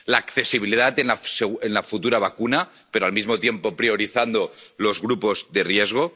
la accesibilidad de la futura vacuna pero, al mismo tiempo, priorizando los grupos de riesgo